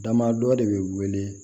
Damadɔ de be wele